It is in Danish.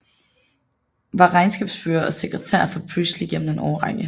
Var regnskabsfører og sekretær for Presley gennem en årrække